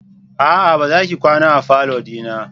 A'a! Bazaki kwana a falo dina.